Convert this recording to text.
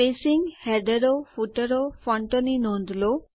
spacing હેડરો ફૂટરો ફોન્ટો ની નોંધ લો